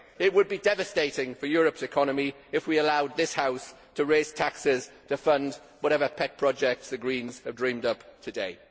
It would be devastating for Europe's economy if we allow this House to raise taxes to fund whatever pet projects the Green's have dreamed up today.